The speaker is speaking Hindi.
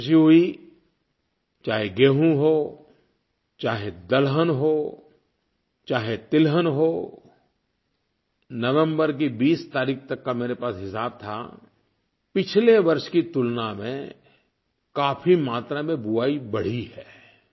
मुझे ख़ुशी हुई चाहे गेहूँ हो चाहे दलहन हो चाहे तिलहन हो नवम्बर की 20 तारीख़ तक का मेरे पास हिसाब था पिछले वर्ष की तुलना में काफ़ी मात्रा में बुआई बढ़ी है